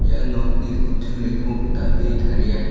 ia nokni kutturiko dal·e taria.